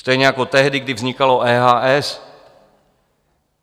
Stejně jako tehdy, kdy vznikalo EHS.